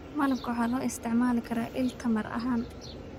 Malabka waxaa loo isticmaali karaa il tamar ahaan.